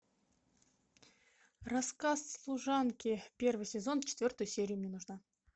рассказ служанки первый сезон четвертая серия мне нужна